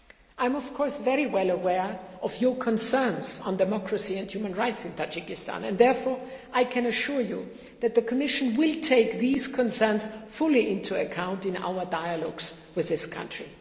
I am, of course, very well aware of your concerns on democracy and human rights in Tajikistan and I can therefore assure you that the Commission will take these concerns fully into account in our dialogues with this country.